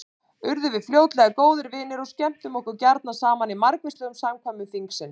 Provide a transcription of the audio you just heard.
Urðum við fljótlega góðir vinir og skemmtum okkur gjarna saman í margvíslegum samkvæmum þingsins.